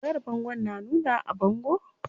Wayar bangon na nunawa a bango?